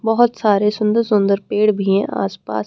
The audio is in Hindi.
बहुत सारे सुंदर सुंदर पेड़ भी हैं आस पास।